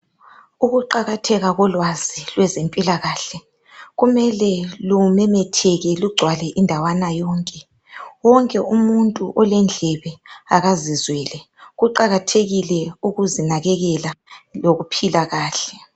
Ukuqakatheka kolwazi lwezempilakahle kumele lumemetheke lugcwale indawana yonke wonke umuntu olendlebe okazizwele kuqakathekile ukuzinakekela lokuphila kahle